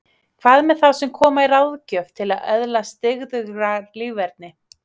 Hvað með þá sem koma í ráðgjöf til að öðlast dyggðugra líferni?